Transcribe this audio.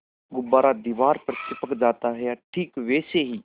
गुब्बारा दीवार पर चिपक जाता है ठीक वैसे ही